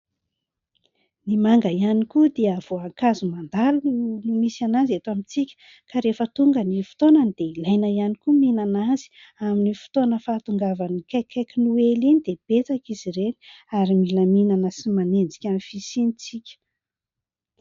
Ny manga ihany koa dia voankazo mandalo no misy an' azy eto amintsika ka rehefa tonga ny fotoanany dia ilaina ihany koa mihinana azy ; amin'ny fotoana fahatongavany akaikikaiky noely iny dia betsaka izy ireny ary mila mihinana sy manenjika fisiany isika.